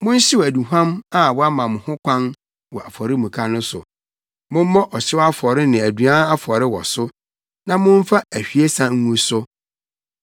Monhyew aduhuam a wɔama ho kwan wɔ afɔremuka no so. Mommmɔ ɔhyew afɔre ne aduan afɔre wɔ so, na mommfa ahwiesa ngu so.